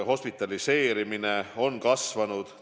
Ka hospitaliseerimine on kasvanud.